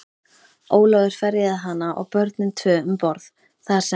Ólafur ferjaði hana og börnin tvö um borð, þar sem